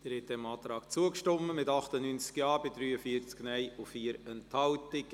Sie haben dem Antrag zugestimmt, mit 98 Ja- bei 43 Nein-Stimmen und 4 Enthaltungen.